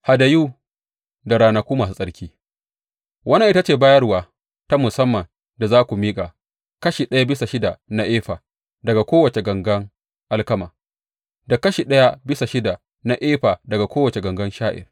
Hadayu da ranaku masu tsarki Wannan ita ce bayarwa ta musamman da za ku miƙa, kashi ɗaya bisa shida na efa daga kowace gangan alkama da kashi ɗaya bisa shida na efa daga kowace gangan sha’ir.